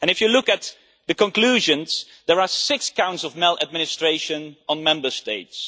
If you look at the conclusions, there are six counts of maladministration on Member States.